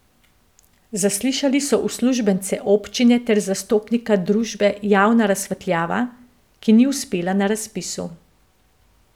Zaslišali so uslužbence občine ter zastopnika družbe Javna razsvetljava, ki ni uspela na razpisu.